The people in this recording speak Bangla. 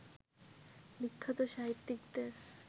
বিখ্যাত সাহিত্যিকদের